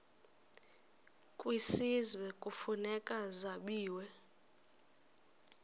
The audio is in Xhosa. kwisizwe kufuneka zabiwe